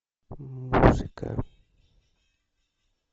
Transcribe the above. музыка